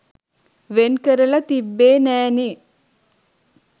වෙන් කරලා තිබ්බෙ නෑ නේ